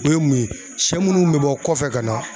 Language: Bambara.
O ye mun ye, shɛ munnu bɛ bɔ kɔfɛ ka na.